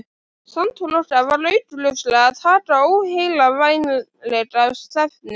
Samtal okkar var augljóslega að taka óheillavænlega stefnu.